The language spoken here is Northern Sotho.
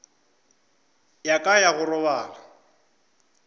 ya ka ya go robala